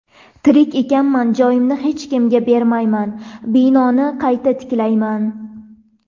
Tirik ekanman, joyimni hech kimga bermayman, binoni qayta tiklayman.